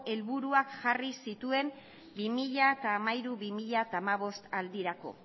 helburuak jarri zituen bi mila hamairu bi mila hamabost aldirako